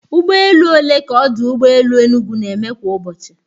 Ụgbọ elu ole ka ọdụ ụgbọ elu Enugu na-eme kwa ụbọchị?